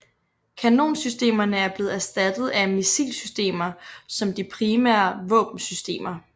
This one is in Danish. Kanonsystemerne er blevet erstattet af missilsystemer som de primære våbensystemer